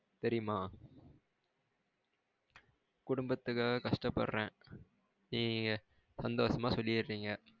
தெரியுமா? குடும்பத்துக்காக கஷ்ட்ட படுறேன். நீங்க சந்தோசமா சொல்லிறிங்க